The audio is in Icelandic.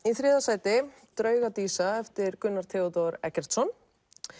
í þriðja sæti drauga dísa eftir Gunnar Theodór Eggertsson